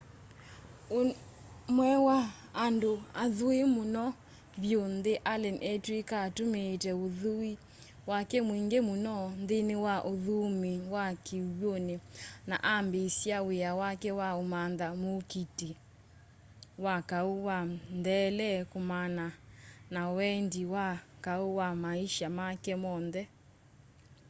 ũmwe wa andũ athui mũno vyũ nthĩ allen etw'ĩka atũmĩĩte ũthui wake mwingĩ mũno nthĩnĩ wa ũthũĩmi wa kĩw'ũnĩ na ambĩĩsya wĩa wake wa ũmantha mũũkiti wa kaũ wa ntheele kumana na wendi wa kaũ wa maisha make monthe